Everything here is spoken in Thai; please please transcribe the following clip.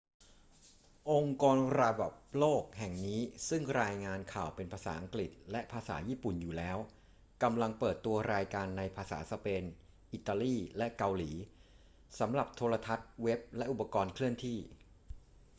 องค์กรระดับโลกแห่งนี้ซึ่งรายงานข่าวเป็นภาษาอังกฤษและภาษาญี่ปุ่นอยู่แล้ว กำลังเปิดตัวรายการในภาษาสเปน อิตาลี และเกาหลี สำหรับโทรทัศน์ เว็บ และอุปกรณ์เคลื่อนที่